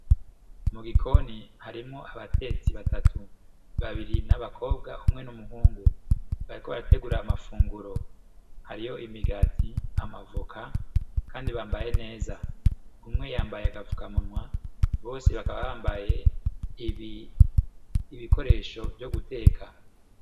Mu gikoni harimwo abatetsi batatu babiri n'abakobwa umwe n'umuhungu. bariko barategura amafunguro, imigati amavoka kandi bambaye neza umwe yambaye agafukamunwa bose bakaba bambaye ibikoresho vyo guteka .